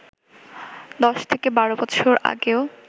১০-১২ বছর আগেও